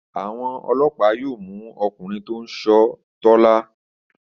Àwọn ọlọ́pàá yóò mú ọkùnrin tó ń ṣọ́ Tọ́lá.